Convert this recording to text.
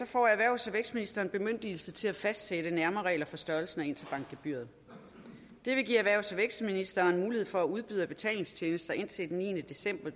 får erhvervs og vækstministeren bemyndigelse til at fastsætte nærmere regler for størrelsen af interbankgebyret det vil give erhvervs og vækstministeren mulighed for at udbyder af betalingstjenester indtil den niende december